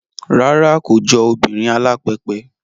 Rárá, kò jọ obìnrin alápẹpẹ